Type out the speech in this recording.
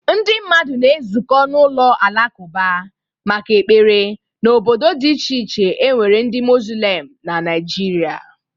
Ndị mmadụ na-ezukọ n'ụlọ alakụba maka ekpere n'obodo dị iche iche e nwere ndị mozulem na naịjirịa.